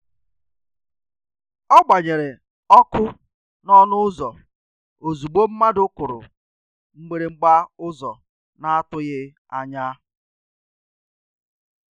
Ọ gbanyere ọkụ n’ọnụ ụ́zọ́ ozugbo mmadụ kụrụ mgbịrịgba ụ́zọ́ na-atụghị anya.